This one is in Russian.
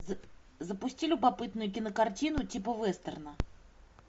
запусти любопытную кинокартину типа вестерна